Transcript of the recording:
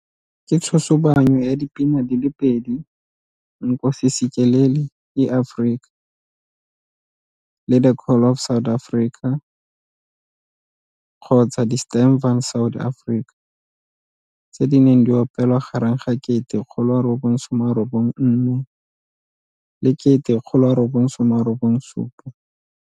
Ke tshosobanyo ya dipina di le pedi Nkosi Sikeleli iAfrika, le The Call of South Africa kgotsa Die Stem van Suid-Afrika tse di neng di opelwa gareng ga 1994 le 1997.